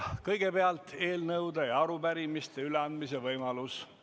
Kõigepealt on eelnõude ja arupärimiste üleandmise võimalus.